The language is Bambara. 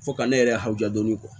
Fo ka ne yɛrɛ hawudu